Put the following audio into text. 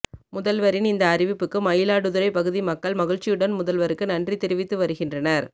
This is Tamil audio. முதல்வரின் இந்த அறிவிப்புக்கு மயிலாடுதுறை பகுதி மக்கள் மகிழ்ச்சியுடன் முதல்வருக்கு நன்றி தெரிவித்து வருகின்றனர்